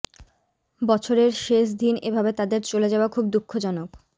বছরের শেষ দিন এভাবে তাদের চলে যাওয়া খুব দুঃখজনক